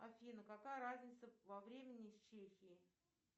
афина какая разница во времени с чехией